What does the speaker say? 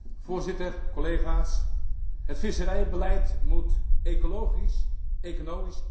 Het visserijbeleid moet ecologisch, economisch en sociaal duurzaam zijn.